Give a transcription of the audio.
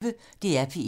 DR P1